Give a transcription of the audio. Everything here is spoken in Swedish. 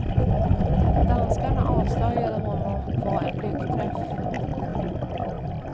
Att danskarna avslöjade honom var en lyckträff.